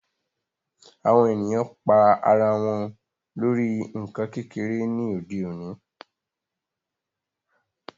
Awọn èniyàn pa àrà wọn lórí nkán kékere ni òde òní